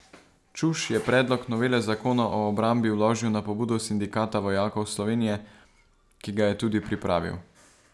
Čuš je predlog novele zakona o obrambi vložil na pobudo Sindikata vojakov Slovenije, ki ga je tudi pripravil.